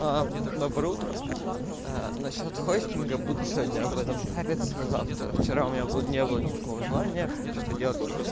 а доброе утро на счёт хостинга буду сегодня об этом париться завтра вчера у меня будут не было никакого желания что-то делать